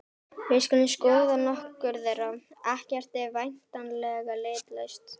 Við skulum skoða nokkur þeirra: Ekkert er væntanlega litlaust.